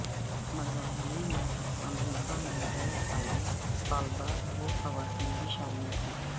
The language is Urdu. مظاہرے میں امریکہ میں زیر تعلیم طالبات و خواتین بھی شامل تھی